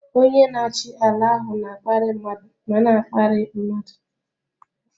Onye na-achị ala ahụ na-akparị mmadụ ma na-akparị mmadụ.